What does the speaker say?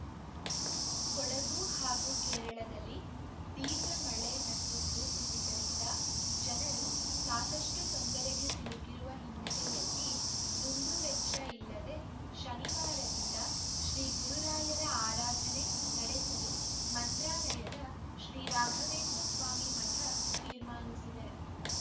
ಕೊಡಗು ಹಾಗೂ ಕೇರಳದಲ್ಲಿ ತೀವ್ರ ಮಳೆ ಮತ್ತು ಭೂಕುಸಿತದಿಂದ ಜನರು ಸಾಕಷ್ಟುತೊಂದರೆಗೆ ಸಿಲುಕಿರುವ ಹಿನ್ನೆಲೆಯಲ್ಲಿ ದುಂದು ವೆಚ್ಚ ಇಲ್ಲದೇ ಶನಿವಾರದಿಂದ ಶ್ರೀಗುರುರಾಯರ ಆರಾಧನೆ ನಡೆಸಲು ಮಂತ್ರಾಲಯದ ಶ್ರೀರಾಘವೇಂದ್ರ ಸ್ವಾಮಿ ಮಠ ತೀರ್ಮಾನಿಸಿದೆ